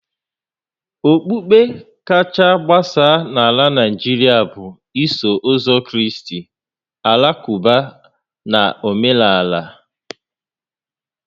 Okpukpe kacha agbasa na Naijiria bụ Iso Ụzọ Kraịst, Alakụba na Omenala